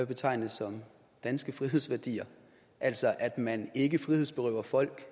betegne som danske frihedsværdier altså at man ikke frihedsberøver folk